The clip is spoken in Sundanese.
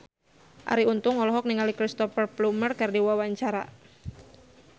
Arie Untung olohok ningali Cristhoper Plumer keur diwawancara